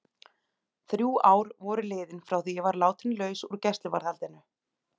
Þrjú ár voru liðin frá því að ég var látin laus úr gæsluvarðhaldinu.